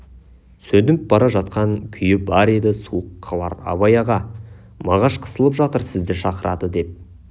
сөніп бара жатқан күйі бар еді суық хабар абай аға мағаш қысылып жатыр сізді шақырады деп